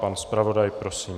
Pan zpravodaj, prosím.